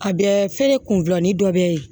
A bɛ feere kunni dɔ bɛ ye